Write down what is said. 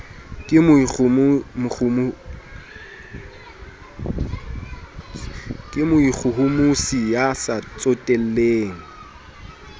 ke moikgohomosi ya sa tsotelleng